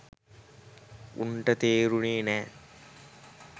උන්ට තෙරුනේ නෑ